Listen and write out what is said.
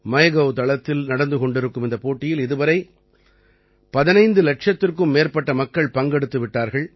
MyGov தளத்தில் நடந்து கொண்டிருக்கும் இந்தப் போட்டியில் இதுவரை 15 இலட்சத்திற்கும் மேற்பட்ட மக்கள் பங்கெடுத்து விட்டார்கள்